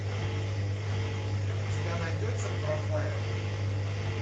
у тебя найдется профайл